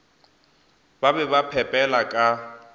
ba be ba phepela ka